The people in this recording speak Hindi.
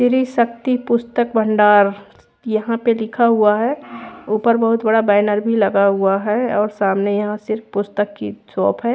त्रि शक्ति पुस्तक भंडार यहाँ पे लिखा हुआ है ऊपर भी बहुत बड़ा बैनर भी लगा है और सामने यहाँ सिर्फ पुस्तक की शॉप है।